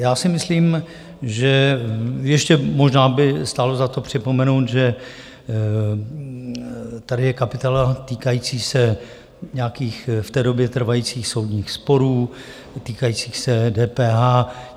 Já si myslím, že ještě možná by stálo za to připomenout, že tady je kapitola týkající se nějakých v té době trvajících soudních sporů týkajících se DPH.